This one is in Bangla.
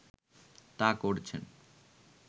তা করছেন